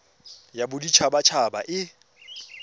ya bodit habat haba e